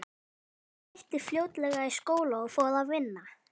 Hún hætti fljótlega í skóla og fór að vinna.